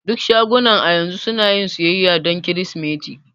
Duk shagunan a yanzu sunayin siyayya dan kirsimeti.